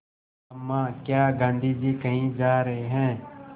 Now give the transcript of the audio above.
अम्मा क्या गाँधी जी कहीं जा रहे हैं